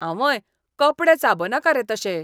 आंवंय, कपडे चाबनाका रे तशे.